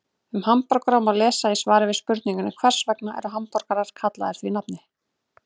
Um hamborgara má lesa í svari við spurningunni Hvers vegna eru hamborgarar kallaðir því nafni?